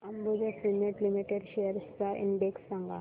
Ambuja cement limited shares चा index सांगा